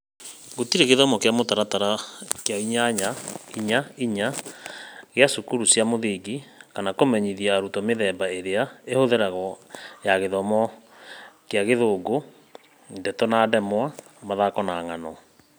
Gũtirĩ gĩthomo kĩa mũtaratara wa gĩthomo kĩa inyanya-inya-inya kĩa cukuru cia mũthingi kana kũmenyithia arutwo mĩthemba ĩrĩa ĩhũthagĩrwo ya Gĩthomo kĩa Gĩthũngũ -ndeto na ndemwa, mathako na ng'ano.